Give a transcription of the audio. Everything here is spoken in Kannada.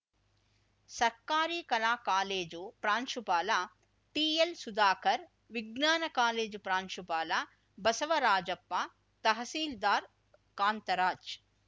ಸರ್ಕಾರಿ ಕಲಾ ಕಾಲೇಜು ಪ್ರಾಂಶುಪಾಲ ಟಿಎಲ್‌ಸುಧಾಕರ್ ವಿಜ್ಞಾನ ಕಾಲೇಜು ಪ್ರಾಂಶುಪಾಲ ಬಸವರಾಜಪ್ಪ ತಹಸೀಲ್ದಾರ್ ಕಾಂತರಾಜ್‌